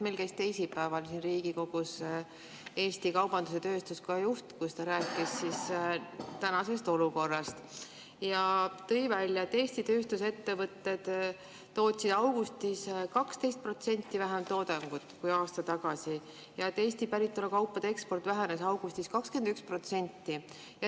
Meil käis teisipäeval siin Riigikogus Eesti Kaubandus- ja Tööstuskoja juht, kes rääkis praegusest olukorrast ja tõi välja, et Eesti tööstusettevõtted tootsid augustis 12% vähem toodangut kui aasta tagasi ja Eesti päritolu kaupade eksport vähenes augustis 21%.